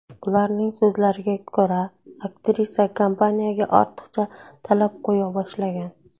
Ularning so‘zlariga ko‘ra, aktrisa kompaniyaga ortiqcha talab qo‘ya boshlagan.